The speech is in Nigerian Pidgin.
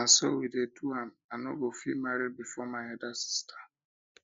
na so we dey do am i no go fit marry before my elder sister